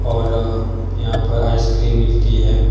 और यहां पर आइसक्रीम मिलती है।